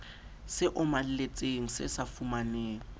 se omeletseng se sa fumaneng